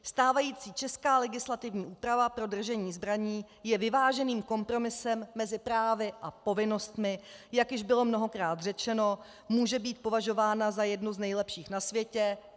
Stávající česká legislativní úprava pro držení zbraní je vyváženým kompromisem mezi právy a povinnostmi, jak již bylo mnohokrát řečeno, může být považována za jednu z nejlepších na světě.